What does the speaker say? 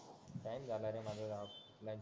नाही झालं रे माझं ह्या वर्षी काही